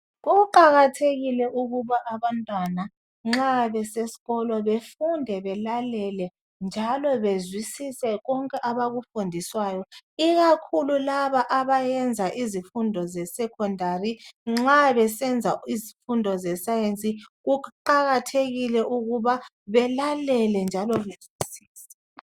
Kuqakathekile ukuba abantwana nxa besesikolo befunde belalele njalo bezwisise konke abakufundiswayo ikakhulu laba abenza izifundo ze secondary nxa besenza izifundo ze science kuqakathekile ukuba belalele njalo bezwisise.